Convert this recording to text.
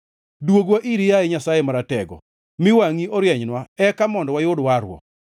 Dwogwa iri, yaye Nyasaye Maratego; mi wangʼi orienynwa, eka mondo wayud warruok.